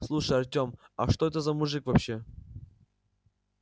слушай артём а что это за мужик вообще